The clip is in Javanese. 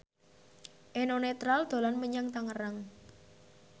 Eno Netral dolan menyang Tangerang